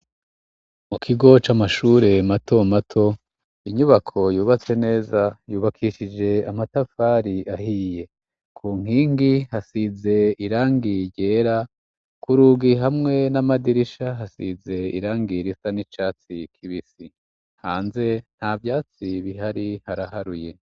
Mu kigo c' amashure mato mato inyubako yubatse neza yubakishije amatafari ahiye ku nkingi hasize irangie ryera kur ugi hamwe n'amadirisha hasize irangira isa n'icatsi kibisi hanze nta vyatsi bihari hara aharuye.